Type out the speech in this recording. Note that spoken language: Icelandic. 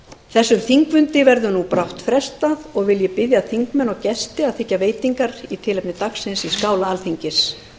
þessum þingfundi verður brátt frestað og vil ég biðja þingmenn og gesti að þiggja veitingar í tilefni dagsins í skála alþingis